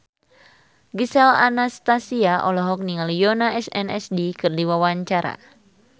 Gisel Anastasia olohok ningali Yoona SNSD keur diwawancara